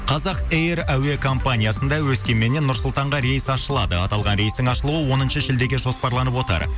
қазақ эйр әуекомпаниясында өскеменнен нұр сұлтанға рейс ашылады аталған рейстің ашылуы оныншы шілдеге жоспарланып отыр